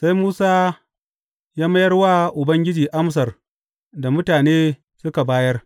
Sai Musa ya mayar wa Ubangiji amsar da mutane suka bayar.